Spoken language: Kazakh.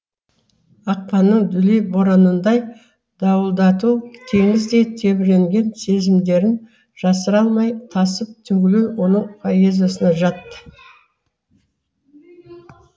ақпанның дүлей боранындай дауылдату теңіздей тебіренген сезімдерін жасыра алмай тасып төгілу оның поэзиясына жат